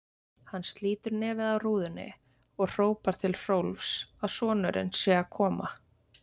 Hann slítur nefið af rúðunni og hrópar til Hrólfs að sonurinn sé að koma.